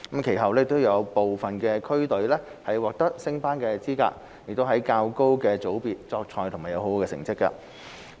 其後有部分區隊獲得升班資格，在較高的組別作賽及獲得佳績。